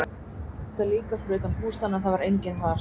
Hann leitaði líka fyrir utan bústaðinn en það var enginn þar.